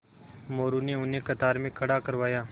मोरू ने उन्हें कतार में खड़ा करवाया